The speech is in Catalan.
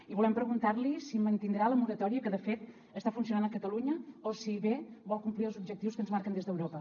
i volem preguntar li si mantindrà la moratòria que de fet està funcionant a catalunya o si bé vol complir els objectius que ens marquen des d’europa